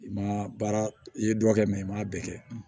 I ma baara i ye dɔ kɛ i m'a bɛɛ kɛ